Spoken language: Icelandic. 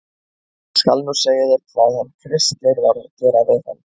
ÉG SKAL NÚ SEGJA ÞÉR HVAÐ HANN KRISTGEIR VAR AÐ GERA VIÐ HANN.